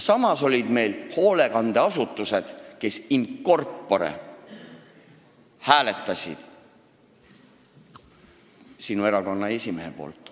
Samas oli hoolekandeasutusi, kus in corpore hääletati ühe erakonna esimehe poolt.